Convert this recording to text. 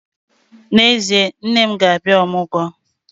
N'ezie, nne m ga-abịa ọmụgwọ